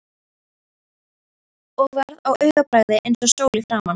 Og varð á augabragði eins og sól í framan.